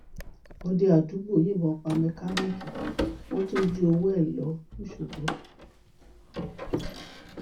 òde àdúgbò yìnbọn pa mẹkáníìkì wọn tún jí owó ẹ lọ lọsọgbò